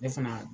Ne fana